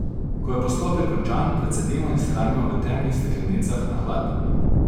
Ko je postopek končan, precedimo in shranimo v temnih steklenicah na hladnem.